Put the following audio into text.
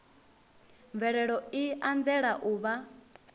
mvelelo i anzela u vha